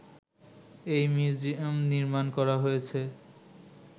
এই মিউজিয়াম নির্মাণ করা হয়েছে